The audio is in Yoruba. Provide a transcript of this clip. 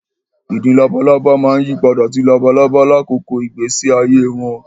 Ìdin labalábá máa yí padà sí labalábá lákòókò ìgbésí ayé wọn